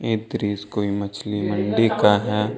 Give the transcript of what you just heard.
दृश्य कोई मछली मंडी का है।